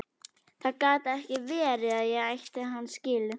Það gat ekki verið að ég ætti hann skilið.